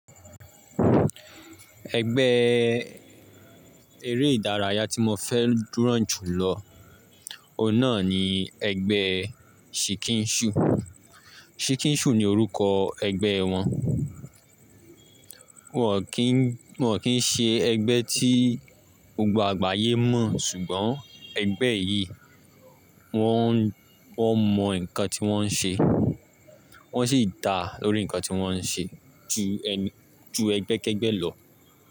Ẹgbẹ́ eré ìdárayá tí mo fẹ́ràn jù lọ, ọ̀un nà ni ẹgbẹ́ Shikinshu. Shikinshu ni orúkọ ẹgbẹ́ wọn. Wọ́n ò kí ń, wọ́n ò kí ń ṣe ẹgbẹ́ tí gbogbo àgbáyé mọ̀, ṣùgbọ́n ẹgbẹ́ yìí wọ́n, wọ́n mọ nǹkan tí wọ́n ń ṣe, wọ́n sì dá lórí nǹkan tí wọ́n ń ṣe ju ẹni, ju ẹgbẹ́ kẹ́gbẹ́ lọ.